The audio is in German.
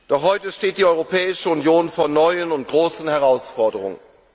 Doch heute steht die Europäische Union vor neuen und großen Herausforderungen.